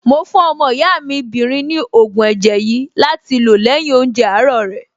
Mo fún ọmọ ìyá mi 'bìnrin ní ògùn ẹ̀jẹ̀ yìí láti lò lẹ́yìn oúnjẹ àárọ̀ rẹ̀.